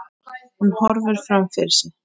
Hún horfir fram fyrir sig.